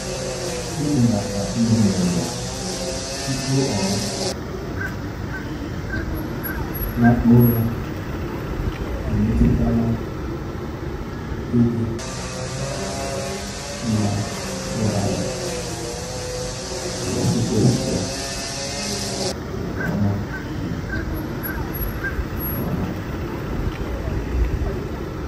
Ibelata oge ihuenyo tupu ọ um lakpuo ụra emetụtala ịdị um mma ụra ya n'ozuzu ya nke ọma. um nke ọma. um